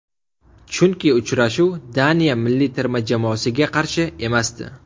Chunki uchrashuv Daniya milliy terma jamoasiga qarshi emasdi.